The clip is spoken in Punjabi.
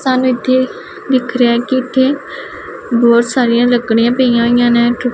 ਸਾਨੂੰ ਇਥੇ ਦਿਖ ਰਿਹਾ ਹੈ ਕਿ ਇਥੇ ਬਹੁਤ ਸਾਰੀਆਂ ਲੱਕੜੀਆਂ ਪਈਆਂ ਹੋਈਆਂ ਨੇ ਟੂ।